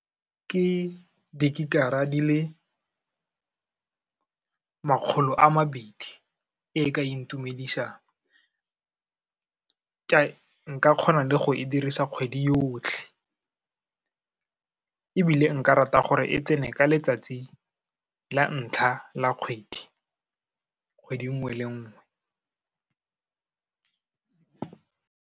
Ke digigara di le makgolo a mabedi, e ka intumedisang. Nka kgona le go e dirisa kgwedi yotlhe, ebile nka rata gore e tsene ka letsatsi la ntlha la kgwedi, kgwedi nngwe le nngwe.